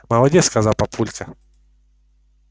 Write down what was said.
молодец сказал папулька